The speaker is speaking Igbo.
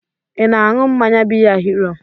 Ị na-aṅụ mmanya biya Hiro?